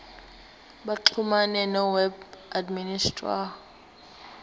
baxhumane noweb administrator